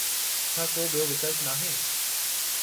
छा को ॿियो विकल्पु नाहे?